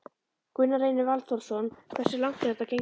Gunnar Reynir Valþórsson: Hversu langt er þetta gengið?